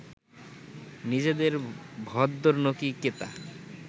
নিজেদের ভদ্দরনোকি কেতা